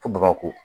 Ko baba ko